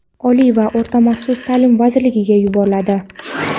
Oliy va o‘rta maxsus ta’lim vazirligiga yuboradi.